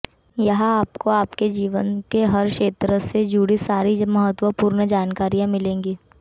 यहां आपको आपके जीवन के हर क्षेत्र से जुड़ी सारी महत्वपूर्ण जानकारियां मिलेगी